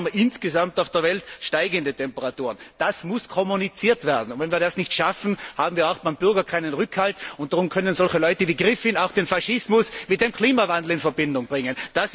Aber trotzdem haben wir insgesamt auf der Welt steigende Temperaturen. Das muss kommuniziert werden, und wenn wir das nicht schaffen, haben wir beim Bürger keinen Rückhalt, und darum können solche Leute wie Griffin auch den Faschismus mit dem Klimawandel in Verbindung bringen.